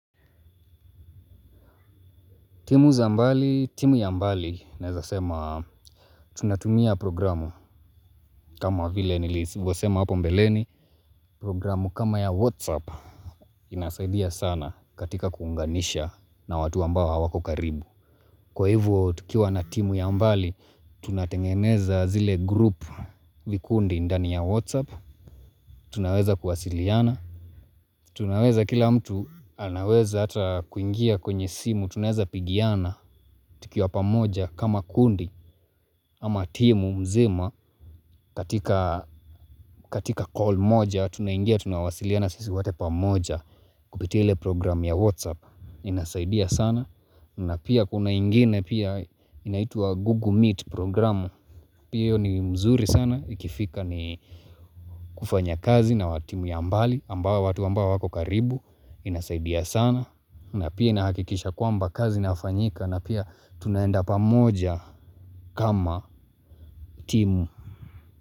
Timu ya mbali naezasema tunatumia programu kama vile nilisivyosema hapo mbeleni. Programu kama ya Whatsapp inasaidia sana katika kuunganisha na watu ambao hawako karibu. Kwa hivyo tukiwa na timu ya mbali tunatengeneza zile grupu vikundi ndani ya Whatsapp. Tunaweza kuwasiliana. Tunaweza kila mtu anaweza ata kuingia kwenye simu. Tunaweza pigiana tukiwa pamoja kama kundi ama timu mzima katika call moja tunaingia tunawasiliana sisi wote pamoja. Kupitia ile program ya whatsapp inasaidia sana na pia kuna ingine pia inaitwa google meet program. Pia hiyo ni mzuri sana ikifika ni kufanya kazi na watimu ya mbali ambao watu ambao wako karibu inasaidia sana na pia inahakikisha kwamba kazi inafanyika na pia tunaenda pamoja kama timu.